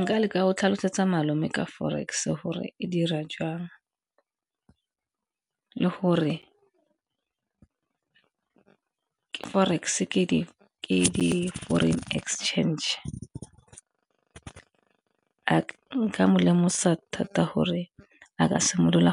Nka leka go tlhalosetsa malome ka forex gore e dira jang le gore ke forex ke di-foreign exchange, nka mo lemosa thata gore a ka simolola